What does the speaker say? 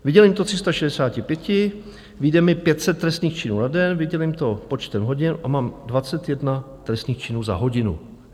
Vydělím to 36, vyjde mi 500 trestných činů na den, vydělím to počtem hodin a mám 21 trestných činů za hodinu.